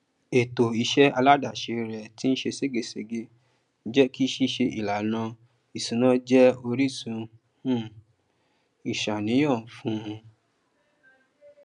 ètò iṣẹ aládàáse rẹ tín ṣe ṣégegège jékí ṣíṣe ìlànà ìṣúná jẹ orísun um ìṣàníyàn fún